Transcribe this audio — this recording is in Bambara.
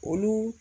Olu